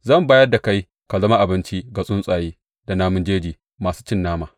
Zan bayar da kai ka zama abinci ga tsuntsaye da namun jeji masu cin nama.